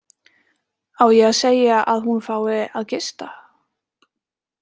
Á ég að segja að hún fái að gista?